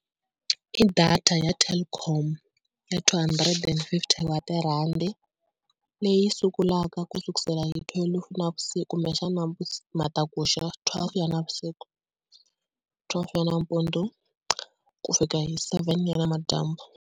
I data ya Telkom ya two hundred and fifty wa tirhandi leyi sungulaka ku sukusela hi thwelufu navusiku kumbexana matakuxa twelve ya navusiku, twelve ya nampundzu ku fika hi seven ya namadyambu.